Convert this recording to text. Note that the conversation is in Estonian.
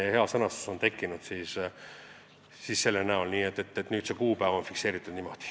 Aitäh, austatud istungi juhataja!